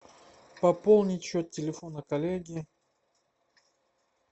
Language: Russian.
пополнить счет телефона коллеги